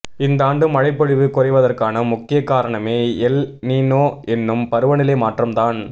இந்தாண்டு மழைப்பொழிவு குறைவதற்கான முக்கியக் காரணமே எல் நினோ என்னும் பருவநிலை மாற்றம் தான்